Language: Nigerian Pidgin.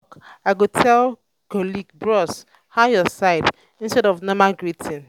i go tell colleague "bros how your side?" instead of normal greeting.